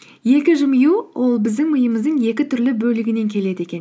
екі жымию ол біздің миымыздың екі түрлі бөлігінен келеді екен